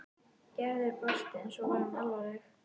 Gerður brosti en svo varð hún alvarleg.